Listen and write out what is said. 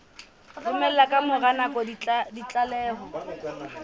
romela ka mora nako ditlaleho